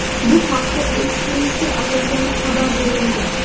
Bu haqda "Express"ga asoslanib xabar berilgan.